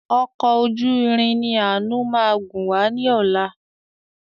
Ọkọ̀ ojú irin ni ànu máa gun wá ní ọ̀la.